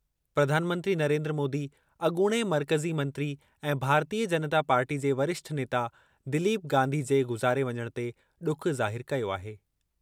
प्रधानमंत्री नरेन्द्र मोदी अॻूणे मर्कज़ी मंत्री ऐं भारतीय जनता पार्टी जे वरिष्ठ नेता दिलीप गांधी जे गुज़ारे वञणु ते ॾुख ज़ाहिरु कयो आहे।